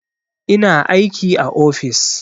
Ina aiki a ofis